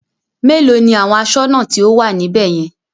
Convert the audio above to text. Mélòó ni àwọn aṣọ́nà tí ó wà níbè yẹn?